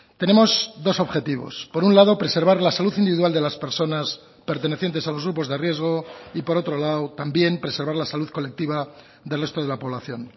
tenemos dos objetivos por un lado preservar la salud individual de las personas pertenecientes a los grupos de riesgo y por otro lado también preservar la salud colectiva del resto de la población